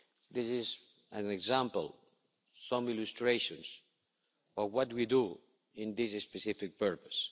This is an example, some illustrations of what do we do in this specific purpose.